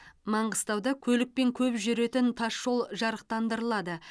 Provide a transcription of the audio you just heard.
маңғыстауда көлікпен көп жүретін тас жол жарықтандырылады